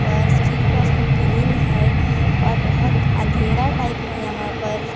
पर स्किल का उसका ग्रिल है और बहोत अंधेरा टाइप है यहां पर--